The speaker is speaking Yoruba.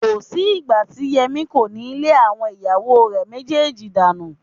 Kò sí ìgbà tí Yẹmí kò ní lé àwọn ìyàwó rẹ méjèèjì dànù